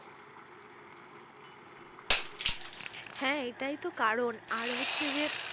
হ্যাঁ এটাই তো কারন আর হচ্ছে যে